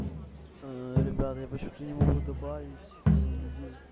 ребят я почему-то не могу добавить людей